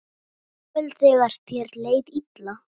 Jafnvel þegar þér leið illa.